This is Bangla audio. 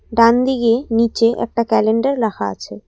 ডানদিকে নীচে একটা ক্যালেন্ডার রাখা আছে।